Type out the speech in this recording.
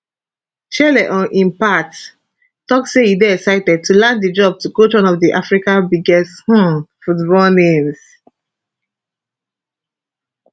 chelle on im part tok say e dey excited to land di job to coach one of africa biggest um football names